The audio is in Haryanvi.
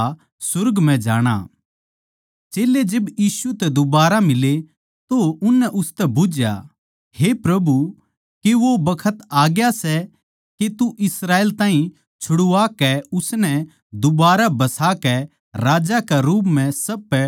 चेल्लें जिब यीशु तै दुबारा मिले तो उननै उसतै बुझ्झया हे प्रभु के वो बखत आ ग्या सै के तू इस्राएल ताहीं छुड़वा कै उसनै दुबारा बसाकै राजा के रूप म्ह सब पै शासन करैगा